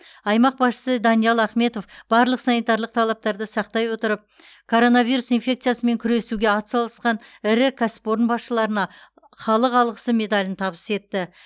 аймақ басшысы даниал ахметов барлық санитарлық талаптарды сақтай отырып коронавирус инфекциясымен күресуге атсалысқан ірі кәсіпорын басшыларына халық алғысы медалін табыс етті